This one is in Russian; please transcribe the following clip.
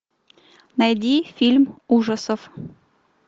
найди фильм ужасов